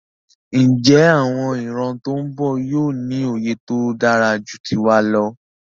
Njé àwon ìran tón bò yío ní òye tódáraju tiwa lọ?